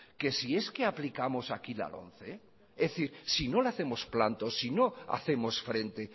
que si es que aplicamos aquí la lomce es decir si no le hacemos planto si no hacemos frente